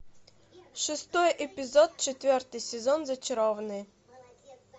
шестой эпизод четвертый сезон зачарованные